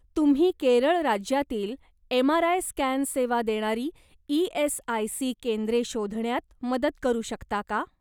तुम्ही केरळ राज्यातील MRI scan सेवा देणारी ई.एस.आय.सी. केंद्रे शोधण्यात मदत करू शकता का?